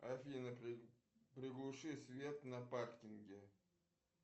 афина приглуши свет на паркинге